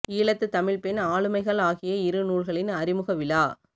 ஈழத்து தமிழ்ப் பெண் ஆளுமைகள் ஆகிய இரு நூல்களின் அறிமுக விழா